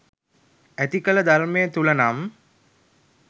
ඇතිකල ධර්මය තුළ නම්